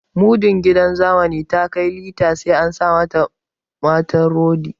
Muddin gidan zamani ta kai linta sai an sa mata rodi